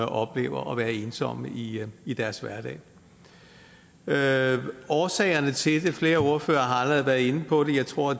oplever at være ensomme i i deres hverdag årsagerne til det flere ordførere har allerede været inde på det tror